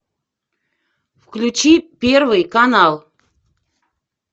включи первый канал